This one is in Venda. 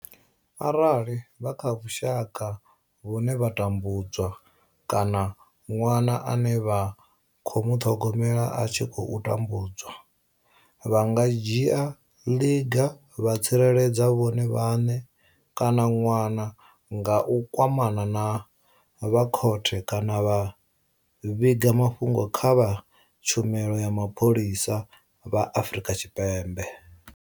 Arali vha kha vhushaka vhune vha tambu dzwa kana ṅwana ane vha khou muṱhogomela a tshi khou tambudzwa, vha nga dzhia ḽiga vha tsireledza vhone vhaṋe kana ṅwana nga u kwamana na vha khothe kana vha vhiga mafhungo kha vha tshumelo ya mapholisa vha Afrika Tshipembe.